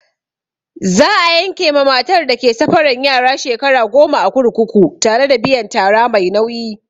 Za'a yanke ma matar da ke safaran yara shekara goma a kurkuku tare da biyan tara mai nauyi.